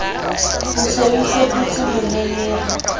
o se o iphetotse moleleri